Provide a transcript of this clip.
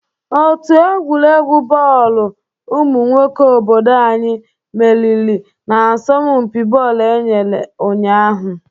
Òtù egwuregwu bọọlụ umụ nwoke obodo anyị meriri n'asompi bọọlụ e mere ụnyaahụ.